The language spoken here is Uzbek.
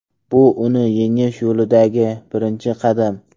Bu uni yengish yo‘lidagi birinchi qadam.